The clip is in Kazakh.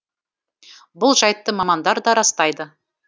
бұл жайтты мамандар да растайды